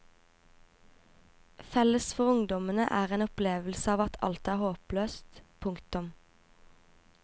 Felles for ungdommene er en opplevelse av at alt er håpløst. punktum